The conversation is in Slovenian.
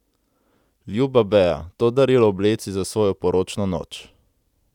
Ljuba Bea, to darilo obleci za svojo poročno noč.